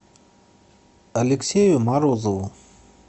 алексею морозову